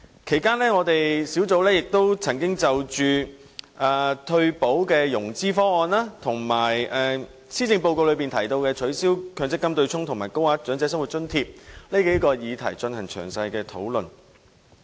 其間，小組委員會曾就退休保障融資方案、施政報告中提及的取消強制性公積金對沖機制和高額長者生活津貼等數個議題進行詳細討論。